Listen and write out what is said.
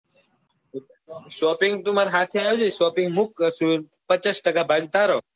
shopping તું માર સાથે આવજે shopping હું કરી દઈસ. પચાસ ટકા ભાગ તારો